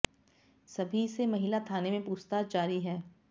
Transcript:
सभी से महिला थाने में पूछताछ जारी है